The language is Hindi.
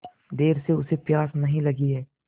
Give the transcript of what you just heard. देर से उसे प्यास नहीं लगी हैं